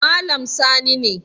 Malam Sani ne